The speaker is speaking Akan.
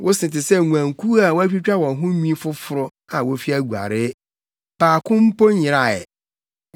Wo se te sɛ nguankuw a wɔatwitwa wɔn ho nwi foforo, a wofi aguaree. Baako mpo nyeraa ɛ.